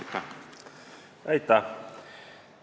Aitäh!